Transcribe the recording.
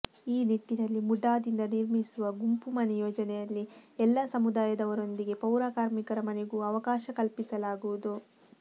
ಈ ನಿಟ್ಟಿನಲ್ಲಿ ಮುಡಾದಿಂದ ನಿರ್ಮಿಸುವ ಗುಂಪು ಮನೆ ಯೋಜನೆಯಲ್ಲಿ ಎಲ್ಲಾ ಸಮುದಾಯದವರೊಂದಿಗೆ ಪೌರ ಕಾರ್ಮಿಕರ ಮನೆಗೂ ಅವಕಾಶ ಕಲ್ಪಿಸಲಾಗುವುದು